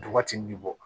Duguma tin bi bɔ